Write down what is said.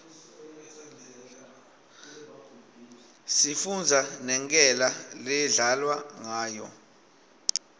sifundza nenkela ledlalwa nqayo